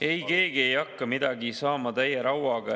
Ei, keegi ei hakka midagi saama täie rauaga.